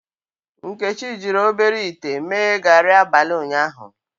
Nkechi jiri obere ite mee gari abalị ụnyaahụ.